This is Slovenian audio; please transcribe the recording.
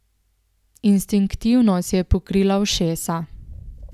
Instinktivno si je pokrila ušesa.